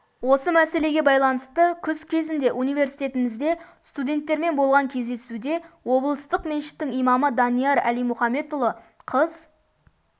осы мәселеге байланысты жылы күз кезінде университетімізде студенттермен болған кездесуде облыстық мешіттің имамы данияр әлимұхамедұлы қыз